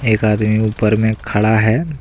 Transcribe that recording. एक आदमी ऊपर में खड़ा है।